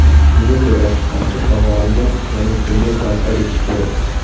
Shunga ko‘ra, Qamchiq dovonida yangi tunnel barpo etish kerak.